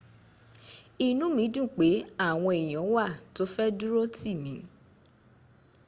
inu mi dun pe awon eyan wa to fe durotimi